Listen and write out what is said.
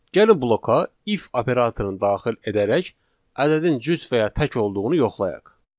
Gəlin bloka if operatorunu daxil edərək ədədin cüt və ya tək olduğunu yoxlayaq.